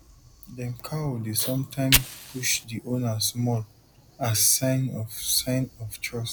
dem cow dey sometime push the owner small as sign of sign of trust